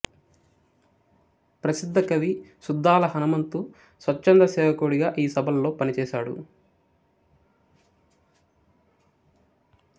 ప్రసిద్ధ కవి సుద్దాల హనుమంతు స్వచ్ఛంద సేవకుడిగా ఈ సభల్లో పనిచేసాడు